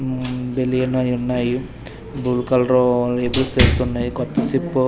మ్మ్ బెలియను అయున్నాయి blue colour ఎదురు ఉన్నాయి కొత్త సిప్పు.